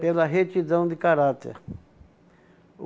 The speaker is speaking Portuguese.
Pela retidão de caráter.